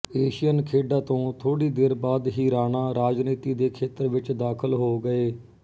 Asian ਖੇਡਾਂ ਤੋਂ ਥੋੜ੍ਹੀ ਦੇਰ ਬਾਅਦ ਹੀ ਰਾਣਾ ਰਾਜਨੀਤੀ ਦੇ ਖੇਤਰ ਵਿੱਚ ਦਾਖਲ ਹੋ ਗਏ